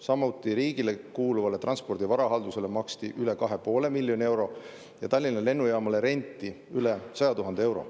Samuti maksti riigile kuuluvale Transpordi Varahaldusele üle 2,5 miljoni euro ja Tallinna Lennujaamale renti üle 100 000 euro.